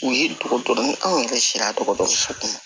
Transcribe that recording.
U ye dɔgɔtɔ ni anw yɛrɛ sera dɔgɔtɔrɔso kɔnɔ